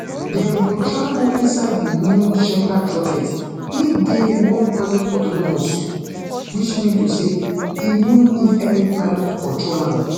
dem go travel inside di new shepherd rocket wey dey one hundred autonomous which mean to say e no need any pilot to control am